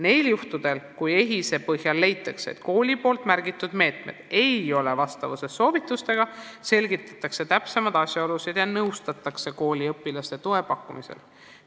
Kui EHIS-e põhjal leitakse, et kooli märgitud meetmed ei ole vastavuses soovitustega, selgitatakse täpsemaid asjaolusid ja nõustatakse kooli õpilastele toe pakkumisel.